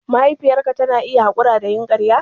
Mahaifiyarka tana iya haƙura da yin ƙarya?